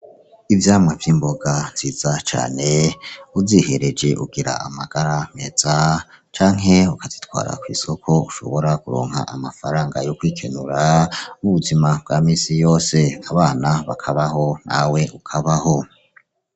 Ivyamwa vy'imboga nziza cane uzihereje ugira amagara meza canke ukazitwara kw'isoko ushobora kuronka amafaranga yo kwikenura mu buzima bwa minsi yose abana bakabaho nawe ukabaho.